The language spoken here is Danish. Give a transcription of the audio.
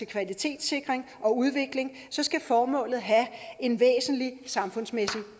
kvalitetssikring og udvikling skal formålet have en væsentlig samfundsmæssig